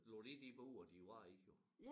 Lagt i de bure de var i jo